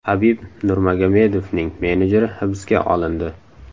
Habib Nurmagomedovning menejeri hibsga olindi.